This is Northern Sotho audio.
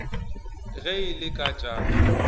ge e le ka tša